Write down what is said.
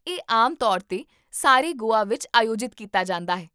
ਇਹ ਆਮ ਤੌਰ 'ਤੇ ਸਾਰੇ ਗੋਆ ਵਿੱਚ ਆਯੋਜਿਤ ਕੀਤਾ ਜਾਂਦਾ ਹੈ